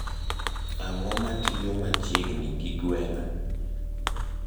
ang`o matiyo machiegni gi gweng`a